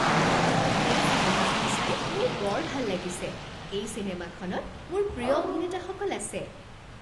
এই চিনেমাখন চাই মোৰ বৰ ভাল লাগিছে। এই চিনেমাখনত মোৰ প্ৰিয় অভিনেতাসকল আছে।